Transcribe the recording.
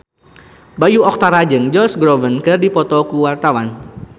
Bayu Octara jeung Josh Groban keur dipoto ku wartawan